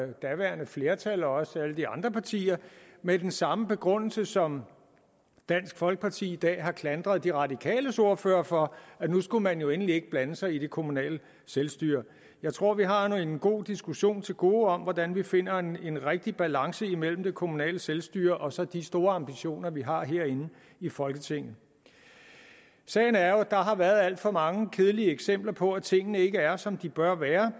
det daværende flertal også alle de andre partier med den samme begrundelse som dansk folkeparti i dag har klandret de radikales ordfører for at nu skulle man jo endelig ikke blande sig i det kommunale selvstyre jeg tror vi har en god diskussion til gode om hvordan vi finder en rigtig balance imellem det kommunale selvstyre og så de store ambitioner vi har herinde i folketinget sagen er jo at der har været alt for mange kedelige eksempler på at tingene ikke er som de bør være